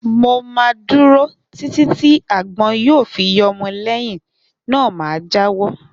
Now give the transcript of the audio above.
Mo má dúró Títí tí àgbọn yíò fi yọmọ lẹyìn náà ma jáwọ́